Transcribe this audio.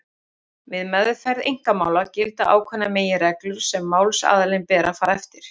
Við meðferð einkamála gilda ákveðnar meginreglur sem málsaðilum ber að fara eftir.